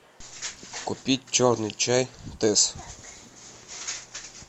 купить черный чай тесс